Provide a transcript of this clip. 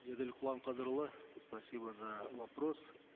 еділ құламқадырұлы спасибо за вопрос